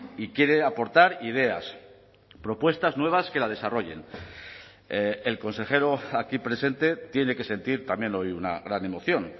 y quiere aportar ideas propuestas nuevas que la desarrollen el consejero aquí presente tiene que sentir también hoy una gran emoción